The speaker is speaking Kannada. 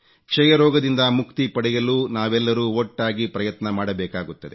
ಕ್ಷಯ ರೋಗದಿಂದ ಮುಕ್ತಿ ಪಡೆಯಲು ನಾವೆಲ್ಲರೂ ಒಟ್ಟಾಗಿ ಪ್ರಯತ್ನ ಮಾಡಬೇಕಾಗುತ್ತದೆ